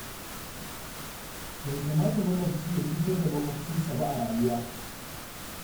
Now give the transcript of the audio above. Bai kamata makwabci ya cutar da maƙwabcinsa ba a rayuwa.